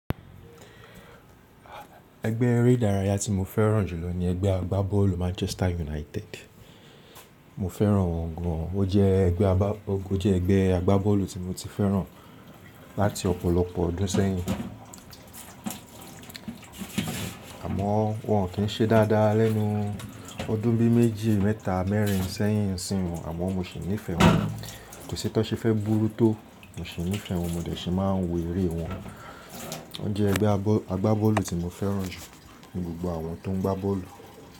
Ẹgbẹ́ eré ìdárayá tí mo fẹ́ràn jùlọ ni ẹgbẹ́ agbábọ́ọ̀lù Manchester United. Mo fẹ́ràn wọ́n gan, ó jẹ́ ẹgbẹ́ agbá-- ọkọ jẹ́ ẹgbẹ́ agbábọ́ọ̀lù tí mo ti fẹ́ràn láti ọ̀pọ̀lọpọ̀ ọdún sẹ́yìn. Àmọ́ wọn kì í ṣe dáadáa lẹ́nu ọdún bí méjì mẹ́ta mẹ́rin sẹ́yìn niisín àmọ́ mo ṣì nífẹ̀ẹ́ wọn. Kò sí tọ́ ṣe fẹ́ burú tó, mo ṣì nífẹ̀ẹ́ wọn mo dẹ̀ ṣì máa ń wo eré wọn. Ó jẹ́ ẹgbẹ́ agbá-- agbábọ́ọ̀lù tí mo fẹ́ràn jù ní gbogbo àwọn tó ń gbá bọ́ọ̀lù.